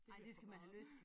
Det bliver for meget